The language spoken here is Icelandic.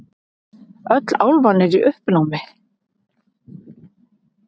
Öll álfan í uppnámi.